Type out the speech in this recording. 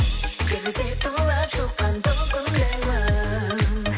теңіздей тулап шыққан толқындаймын